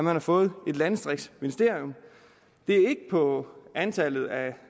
har fået et landdistriktsministerium det er ikke på antallet af